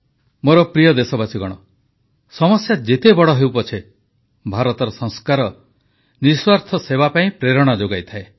ମୋର ପ୍ରିୟ ଦେଶବାସୀଗଣ ସମସ୍ୟା ଯେତେ ବଡ଼ ହେଉ ପଛେ ଭାରତର ସଂସ୍କାର ନିଃସ୍ୱାର୍ଥ ସେବା ପାଇଁ ପ୍ରେରଣା ଯୋଗାଇଥାଏ